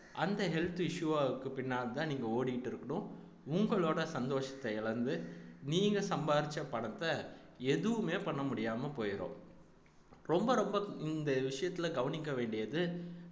அந்த health issue வுக்கு பின்னால்தான் நீங்க ஓடிக்கிட்டு இருக்கணும் உங்களோட சந்தோஷத்தை இழந்து நீங்க சம்பாரிச்ச பணத்தை எதுவுமே பண்ண முடியாம போயிரும் ரொம்ப ரொம்ப இந்த விஷயத்துல கவனிக்க வேண்டியது